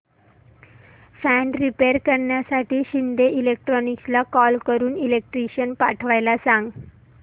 fan repair करण्यासाठी शिंदे इलेक्ट्रॉनिक्सला call करून इलेक्ट्रिशियन पाठवायला सांग